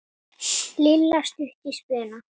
Lilla stutt í spuna.